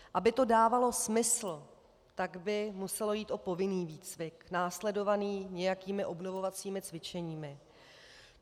Aby to dávalo smysl, tak by muselo jít o povinný výcvik následovaný nějakými obnovovacími cvičeními.